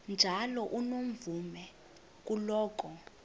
njalo unomvume kuloko